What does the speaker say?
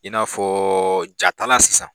I n'a fɔ jatalan sisan